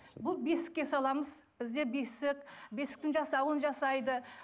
бұл бесікке саламыз бізде бесік бесіктің жасауын жасайды